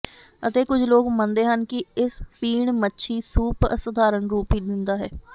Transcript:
ਅਤੇ ਕੁਝ ਲੋਕ ਮੰਨਦੇ ਹਨ ਕਿ ਇਸ ਪੀਣ ਮੱਛੀ ਸੂਪ ਅਸਾਧਾਰਨ ਰੂਪ ਹੀ ਦਿੰਦਾ ਹੈ